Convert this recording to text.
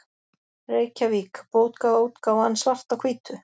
Reykjavík: Bókaútgáfan Svart á hvítu.